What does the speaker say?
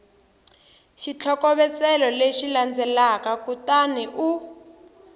xitlhokovetselo lexi landzelaka kutani u